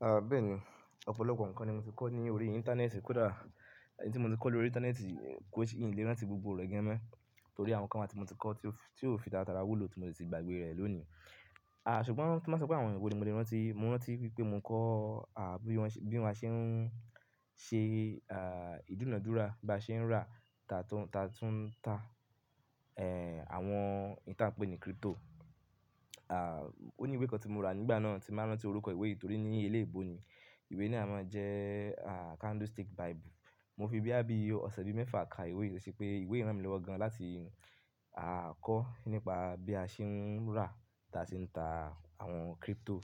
Àbe è ní, ọ̀pọ̀lọpọ̀ nǹkan ni mo ti kọ́ ní orí Íńtánẹ́ẹ̀tì. Kódà n tí mo ti kọ́ lórí Íńtánẹ́ẹ̀tì, kó ṣe n lè rántí gbogbo re ganmo torí àwọn nǹkan wá tí mo ti kọ́ tí ó fi tatara wúlò tí mo ti sì gbàgbé rẹ̀ lónìí. À, ṣùgbọ́n tí wọ́n bá sọ pé àwọn ènìyàn wo ni mo lè rántí, mo rántí wípé mo ń kọ́, à, bí wọ́n ṣe, bí wọ́n ṣe ń ṣe, à, ìdúnadúrà, bí wọ́n ṣe ń rà tá tún, tá tún ta, ẹ́, àwọn nta pẹ́ ni kírípítò. À, ó ní ìwé kan tí mo rà nígbà náà tí mbá rántí orúkọ ìwé yìí torí ní ilé eebò ni. Ìwé náà máa jẹ́, à, Candle Stick Bible. Mo fi boya bí ọ̀sẹ̀ bíi mẹ́fa ka ìwé yìí torí pé ìwé yìí rán mi lọ́wọ́ gan láti, à, kọ́ nípa bí a ṣe ń rà tá sí ń ta àwọn kírípítò,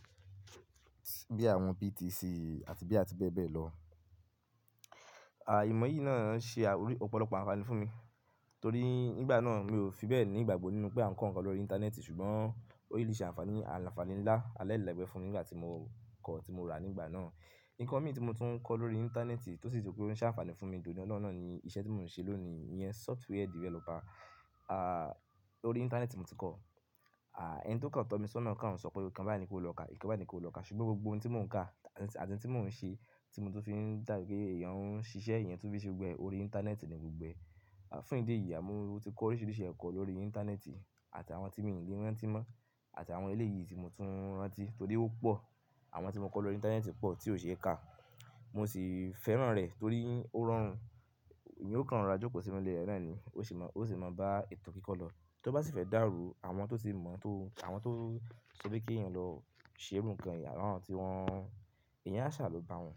bí àwọn BTC àti be àti bẹ́ẹ̀ bẹ́ẹ̀ lọ. À, ìmọ̀ yìí náà ṣe à, orí ọ̀pọ̀lọpọ̀ àǹfààní fún mi torí nígbà náà mi ò fi bẹ́ẹ̀ ní ìgbàgbọ́ nínú pé à ń kọ́ nǹkan lórí Íńtánẹ́ẹ̀tì ṣùgbọ́n ó réally le ṣe àǹfààní àǹfààní ńlá alélẹ̀ẹ́gbẹ́ fún mi nígbà tí mo kọ́ tí mo rà nígbà náà. Nkan mi tí mo tún ń kọ́ lórí Íńtánẹ́ẹ̀tì tó sì ti pé ó ń ṣe àǹfààní fún mi de oní ọlọ́ni ni iṣẹ́ tí mò ń ṣe lónìí iyẹn, sófúwéè dìfẹ́lọ́pà. À, lórí Íńtánẹ́ẹ̀tì mo ti kọ́. À, ẹni tí ó kàń tọ́ mi sọ́nà kan ò ń sọ pé nkan bai ni kí o lọ kà, nkan bai ni kí o lọ kà ṣùgbọ́n gbogbo ohun tí mò ń kà àti tí mò ń ṣe tí mo tún fi da pé èèyàn ń ṣiṣẹ́ eeyan tún fí ṣe gbogboẹ̀ orí Íńtánẹ́ẹ̀tì ni gbogbo ẹ. À, fún ìdí èyí, mo ti kọ́ oríṣiríṣi ẹ̀kọ́ lórí Íńtánẹ́ẹ̀tì àti àwọn tí mi ò ní lè rántí mọ́ àti àwọn eléyìí tí mo tún rántí torí ó pọ̀. Àwọn tí mo kọ́ lórí Íńtánẹ́ẹ̀tì pọ̀ tí ò ṣe é kà. Mo sì fẹ́ràn rẹ̀ torí ó rọrùn, èeyan ó kan rọra jókòó sí inú ilé rẹ́ naani, ó sì máa, ó sì máa bá ètò kíkọ́ lọ. Tó bá sì fẹ́ dàrú, àwọn tó tì mọ̀ ọ́n tó, àwọn tó sọ pe kí èèyàn lọ ṣe nǹkan, àwọn tí wọ́n, èèyàn a sáà ló bá wọn.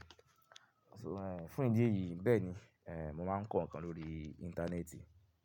So, ẹ́, fún ìdí èyí bẹ́ẹ̀ ni, ẹ́, mo máa ń kọ́ nǹkan lórí Íńtánẹ́ẹ̀tì.